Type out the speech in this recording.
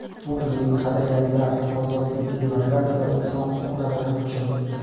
Bu bizning qadriyatlar, ozodlik, demokratiya va inson huquqlariga hujum.